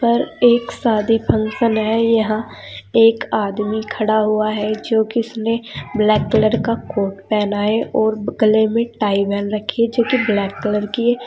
पर एक शादी फंक्शन है। यहां एक आदमी खड़ा हुआ है जो कि इसने ब्लैक कलर का कोट पहना है और गले में टाई बांध रखी है जो कि ब्लैक कलर की है।